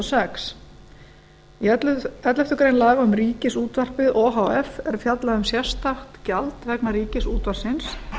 sex í elleftu grein laga um ríkisútvarpið o h f er fjallað um sérstakt gjald vegna ríkisútvarpsins